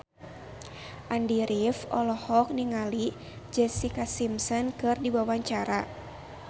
Andy rif olohok ningali Jessica Simpson keur diwawancara